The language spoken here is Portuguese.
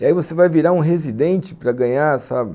E aí você vai virar um residente para ganhar, sabe?